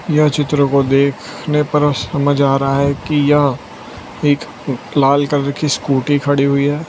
यह चित्र को देखने पर समझ आ रहा है कि यह एक लाल कलर की स्कूटी खड़ी हुई है।